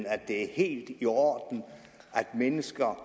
at det er helt i orden at mennesker